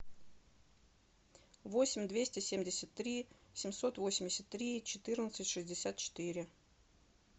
восемь двести семьдесят три семьсот восемьдесят три четырнадцать шестьдесят четыре